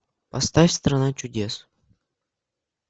поставь страна чудес